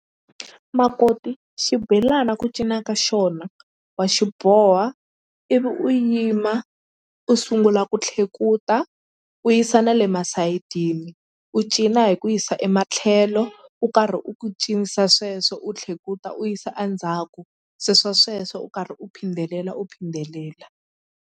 Makoti xibelani ku cinca ka xona wa xi boha ivi u yima u sungula ku tlhekuta u yisa na le masayiti u cina hi ku yisa ematlhelo u karhi u ku cinisa sweswo u tlhekuta u yisa a ndzhaku sweswo u karhi u phidelela u phindelela.